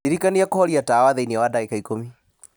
ndirikania kũhoria tawa thĩinĩ wa ndagĩka ikũmi